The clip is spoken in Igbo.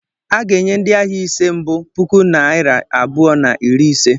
A ga-enye ndị ahịa ise nke mbu puku naịra abụọ na iri na ise.